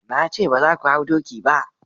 na ce ba za ku hau doki ba!